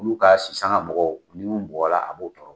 Olu ka sisanga mɔgɔ minnu bɔla ɔ a b'u tɔɔrɔ.